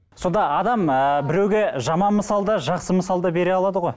сонда адам ыыы біреуге жаман мысал да жақсы мысал да бере алады ғой